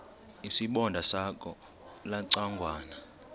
isibonda sakho ulucangwana